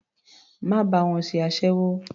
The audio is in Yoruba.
Má bá wọn ṣe aséwó.